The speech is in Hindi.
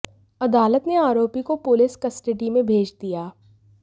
अदालत ने आरोपी को पुलिस कस्टडी में भेज दिया